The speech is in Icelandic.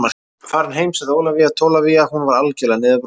Farin heim, sagði Ólafía Tólafía, hún var algerlega niðurbrotin.